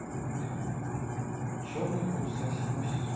черные паруса седьмой сезон